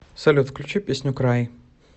салют включи песню край